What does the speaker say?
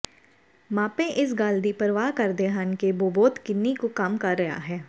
ਮਾਪੇ ਇਸ ਗੱਲ ਦੀ ਪਰਵਾਹ ਕਰਦੇ ਹਨ ਕਿ ਬੋਬੋਤ ਕਿੰਨੀ ਕੁ ਕੰਮ ਕਰ ਰਿਹਾ ਹੈ